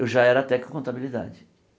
Eu já era técnico contabilidade.